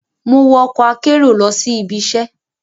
Mo wo ọkọ akero lọ si ibiṣẹ